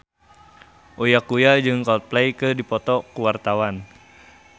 Uya Kuya jeung Coldplay keur dipoto ku wartawan